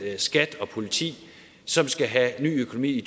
skat og politi som skal have ny økonomi i